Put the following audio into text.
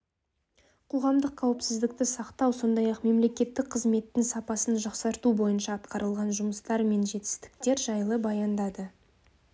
қоғамдық қауіпсіздікті сақтау сондай-ақ мемлекеттік қызметтің сапасын жақсарту бойынша атқарылған жұмыстар мен жетістіктер жайлы баяндады